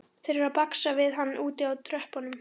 Þeir eru að baksa við hann úti á tröppunum.